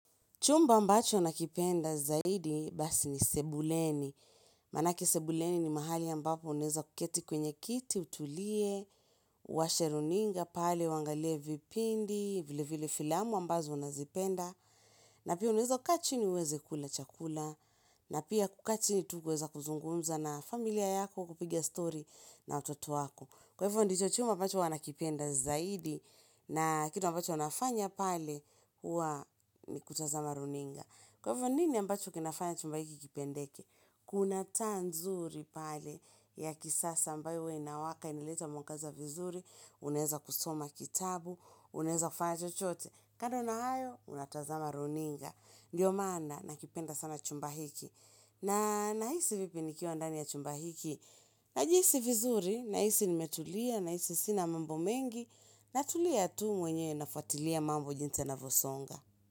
Chumba ambacho nakipenda zaidi basi ni sebuleni. Manake sebuleni ni mahali ambapo unaeza kuketi kwenye kiti, utulie, uwasheruninga, pale, uangalie vipindi, vile vile filamu ambazo unazipenda. Na pia unaeza kukaachini uweze kula chakula. Na pia kukaa chini tu kuweza kuzungumza na familia yako kupiga story na watoto wako. Kwa hivyo ndicho chumba ambacho huwa nakipenda zaidi. Na kitu ambacho nafanya pale, huwa ni kutazama runinga. Kwa hivyo nini ambacho kinafanya chumba hiki kipendeke? Kuna taa nzuri pale ya kisasa ambayo huwa inawaka inileta mwangaza vizuri, unaeza kusoma kitabu, unaeza kufanya chochote. Kando na hayo, unatazama runinga. Ndiyo maana na kipenda sana chumba hiki. Na nahisi vipi nikiwa ndani ya chumba hiki? Na jihisi vizuri, nahisi nimetulia, nahisi sina mambo mengi. Na tulia tu mwenye nafwatilia mambo jinsi yanavosonga.